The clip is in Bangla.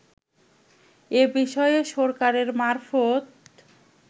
এ বিষয়ে সরকারের মারফত